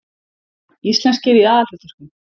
Íslenskir í aðalhlutverkum